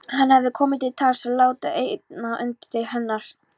Hafði komið til tals að láta eina undirdeild hennar